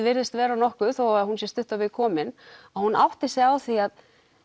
virðist vera nokkuð þó hún sé stutt á veg komin að hún átti sig á því að